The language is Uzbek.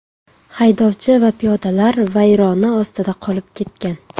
Haydovchi va piyodalar vayrona ostida qolib ketgan.